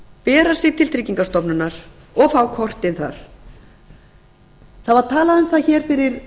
bera sig til tryggingastofnunar og fá kortin þar það var talað um að hér fyrir